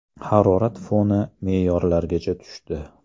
Harorat foni me’yorlargacha tushdi.